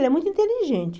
Ele é muito inteligente.